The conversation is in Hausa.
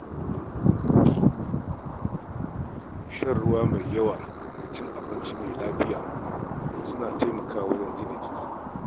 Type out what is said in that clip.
Shan ruwa mai yawa da cin abinci mai lafiya ya na taimakawa lafiyar jiki.